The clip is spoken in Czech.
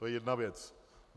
To je jedna věc.